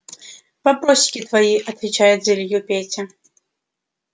вопросики твои отвечает за илью петя